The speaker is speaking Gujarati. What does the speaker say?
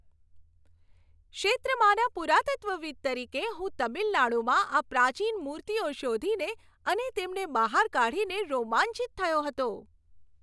ક્ષેત્રમાંના પુરાતત્વવિદ્ તરીકે, હું તમિલનાડુમાં આ પ્રાચીન મૂર્તિઓ શોધીને અને તેમને બહાર કાઢીને રોમાંચિત થયો હતો.